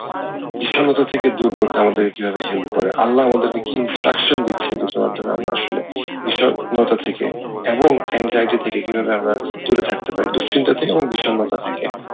বিষন্নতা থেকে দূর করবে আমাদের কে কিভাবে help করে আল্লাহ আমাদের কে কি instruction দিচ্ছে যে আমরা আসলে থেকে এবং থেকে কিভাবে আমরা দূরে থাকতে পারি দুশ্চিন্তা থেকে এবং বিষন্নতা থেকে।